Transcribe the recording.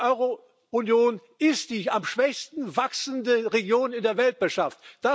Die Eurounion ist die am schwächsten wachsende Region in der Weltwirtschaft.